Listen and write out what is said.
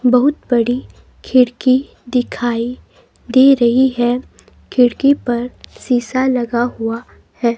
बहुत बड़ी खिड़की दिखाई दे रही है खिड़की पर शीशा लगा हुआ है.